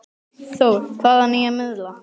Þór: Hvaða nýja miðla?